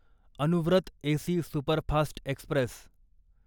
Anuvrat AC superfast Express